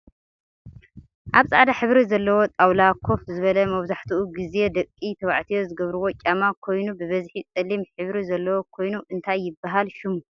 ኣብ ፃዕዳ ሕብሪ ዘለዎ ጣውላ ከፍ ዝበለ መብዛሕቲኡ ግዜ ዲቀ ተባዕትዮ ዝገብርዎ ጫማ ኮይኑ ብበዝሒ ፀሊም ሕብሪ ዘለዎ ኮይኑ እንታይ ይብሃል ሽሙ